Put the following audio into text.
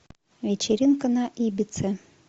вечеринка на ибице